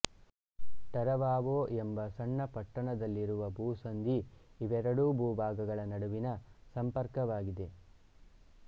Taravao ಎಂಬ ಸಣ್ಣ ಪಟ್ಟಣದಲ್ಲಿರುವ ಭೂಸಂಧಿ ಇವೆರಡೂ ಬೂಭಾಗಗಳ ನಡುವಿನ ಸಂಪರ್ಕವಾಗಿದೆ